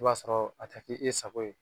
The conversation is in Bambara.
I b'a sɔrɔ a tɛ ke e sago ye